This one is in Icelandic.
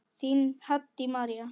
Þín, Haddý María.